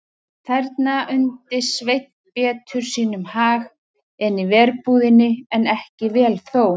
Þarna undi Sveinn betur sínum hag en í verbúðinni, en ekki vel þó.